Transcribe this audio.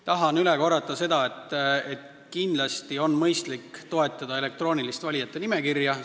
Tahan üle korrata, et kindlasti on mõistlik toetada elektroonilist valijate nimekirja.